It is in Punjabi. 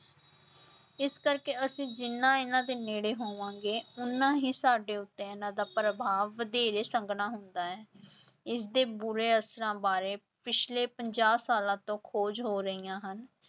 ਇਸ ਕਰਕੇ ਅਸੀਂ ਜਿੰਨਾ ਇਹਨਾਂ ਦੇ ਨੇੜੇ ਹੋਵਾਂਗੇ ਓਨਾ ਹੀ ਸਾਡਾ ਉੱਤੇ ਇਹਨਾਂ ਦਾ ਪ੍ਰਭਾਵ ਵਧੇਰੇ ਸੰਘਣਾ ਹੁੰਦਾ ਹੈ ਇਸਦੇ ਬੁਰੇ ਅਸਰਾਂ ਬਾਰੇ ਪਿੱਛਲੇ ਪੰਜਾਹ ਸਾਲਾਂ ਤੋਂ ਖੋਜ ਹੋ ਰਹੀਆਂ ਹਨ,